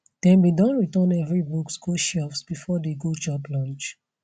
dem be don return every books go shelves before de go chop lunch